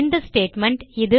இந்த ஸ்டேட்மெண்ட்